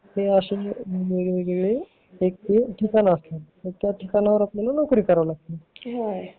अशे वेगवेगळे ठिकाण असतात तिथे आपल्याला नोकरी करावी लागती